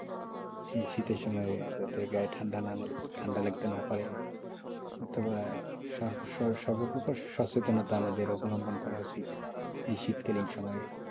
শীতের সময় যাতে গায়ে ঠান্ডা লাগতে না পারে অথবা সর্ব প্রকাশ সচেতনতা আমাদের অবলম্বন করা উচিৎ এই শীতকালীন সময়ে,